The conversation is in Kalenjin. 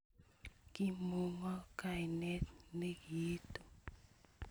Kimuko kainet ne kiitu